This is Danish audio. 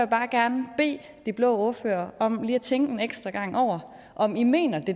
bare gerne bede de blå ordførere om lige at tænke en ekstra gang over om i mener det